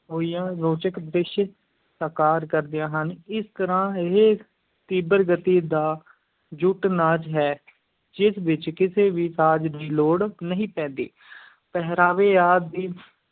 ਹੋਈਆਂ ਰੋਚਕ ਦ੍ਰਿਸ਼ ਸਾਕਾਰ ਕਰਦੀਆਂ ਹਨ, ਇਸ ਤਰ੍ਹਾਂ ਇਹ ਤੀਬਰ ਗਤੀ ਦਾ ਜੁੱਟ-ਨਾਚ ਹੈ, ਜਿਸ ਵਿੱਚ ਕਿਸੇ ਵੀ ਸਾਜ਼ ਦੀ ਲੋੜ ਨਹੀਂ ਪੈਂਦੀ ਪਹਿਰਾਵੇ ਆਦਿ ਦੀ